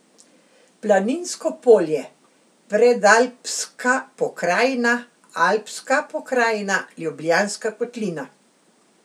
Planinsko polje, Predalpska pokrajina, Alpska pokrajina, Ljubljanska kotlina.